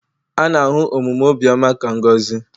A na-ahụ omume obiọma ka ngọzi.